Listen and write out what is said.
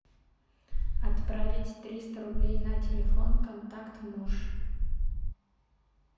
отправить триста рублей на телефон контакт муж